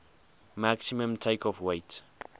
maximum takeoff weight